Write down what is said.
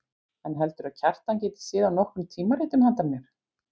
En heldurðu að Kjartan geti séð af nokkrum tímaritum handa mér.